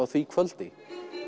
því kvöldi